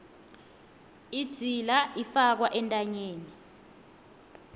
idzila ifakwa entanyeni